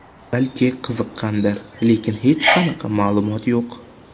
Balki qiziqqandir, lekin hech qanaqa ma’lumot yo‘q.